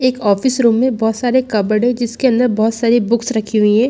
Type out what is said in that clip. एक office room में बोहोत सारे कबर्डस है जिसमे अंदर बोहोत सारी बुक्स रखी हुईं है।